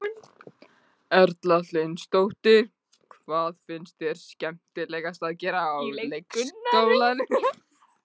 Erla Hlynsdóttir: Hvað finnst þér skemmtilegast að gera á leikskólanum?